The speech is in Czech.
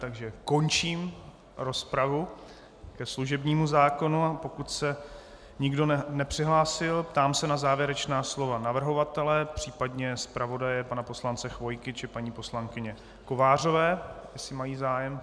Takže končím rozpravu ke služebnímu zákonu a pokud se nikdo nepřihlásil, ptám se na závěrečná slova navrhovatele, případně zpravodaje pana poslance Chvojky, či paní poslankyně Kovářové, jestli mají zájem.